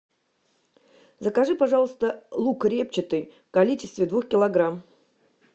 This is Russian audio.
закажи пожалуйста лук репчатый в количестве двух килограмм